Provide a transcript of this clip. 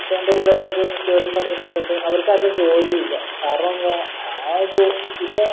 ഇപ്പൊ എൻറെ കൂടെ പഠിച്ച മിക്ക്യവരും അവർക്കാർക്കും ജോലി ഇല്ല കാരണം എന്താ ആദ്യം ഇപ്പോ